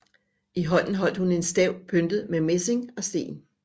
I hånden holdt hun en stav pyntet med messing og sten